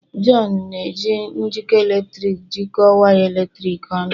John na-eji njikọ eletrik jikọọ waya eletrik ọnụ.